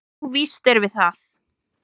"""Jú, víst erum við það."""